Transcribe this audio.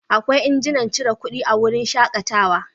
Akwai injinan cire kuɗi a wurin shakatawa.